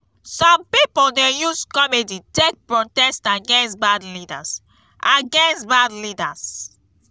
some pipo dey use comedy take protest against bad leaders against bad leaders